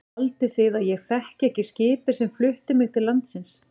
Haldið þið að ég þekki ekki skipið sem flutti mig til landsins.